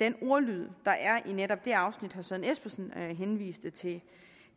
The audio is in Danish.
den ordlyd der er i netop det afsnit herre søren espersen henviste til